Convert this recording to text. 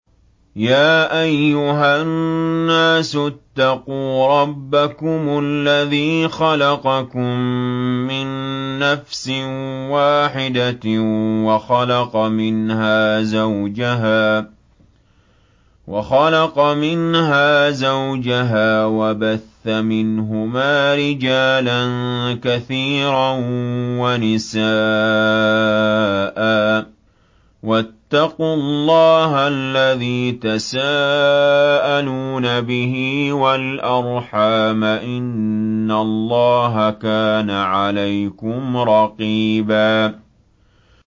يَا أَيُّهَا النَّاسُ اتَّقُوا رَبَّكُمُ الَّذِي خَلَقَكُم مِّن نَّفْسٍ وَاحِدَةٍ وَخَلَقَ مِنْهَا زَوْجَهَا وَبَثَّ مِنْهُمَا رِجَالًا كَثِيرًا وَنِسَاءً ۚ وَاتَّقُوا اللَّهَ الَّذِي تَسَاءَلُونَ بِهِ وَالْأَرْحَامَ ۚ إِنَّ اللَّهَ كَانَ عَلَيْكُمْ رَقِيبًا